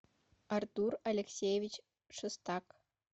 артур алексеевич шестак